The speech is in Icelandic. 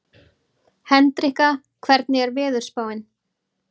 Hendrikka, hvernig er veðurspáin?